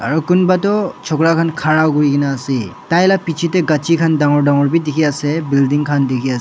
aru kumba toh churuka khan kahara kurina ase tai laga pichey tae gachi khan dangor dangor vi dekhi ase building khan dekhi ase.